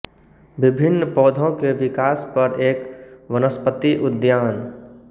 विभिन्न पौधों के विकास पर एक वनस्पति उद्यान